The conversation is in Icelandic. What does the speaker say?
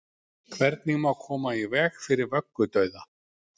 hvernig má koma í veg fyrir vöggudauða